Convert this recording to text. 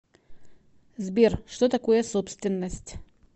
сбер что такое собственность